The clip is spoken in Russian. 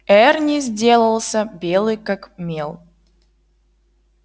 эрни сделался белый как мел